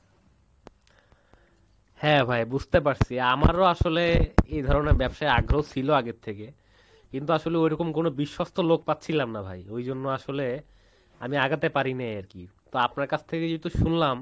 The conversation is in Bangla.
হ্যাঁ ভাই বুঝতে পারছি আমারো আসলে এই ধরণের ব্যবসার আগ্রহ ছিল আগের থেকে কিন্তু ঐরকম কোনো বিশ্বস্ত লোক পাচ্ছিলাম না ভাই ঐজন্য আসলে আমি আগাতে পারি নাই আরকি তো আপনার কাছ থেকে যেহেতু শুনলাম